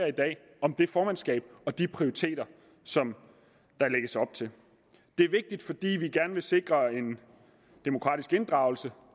debat om det formandskab og de prioriteter som der lægges op til det er vigtigt fordi vi gerne vil sikre en demokratisk inddragelse